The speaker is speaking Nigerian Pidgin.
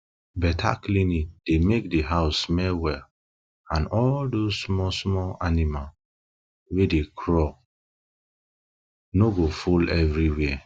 better cleaning dey make di house smell well and all those small small animals wey dey crawl no go full every where